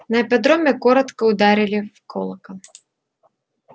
на ипподроме коротко ударили в колокол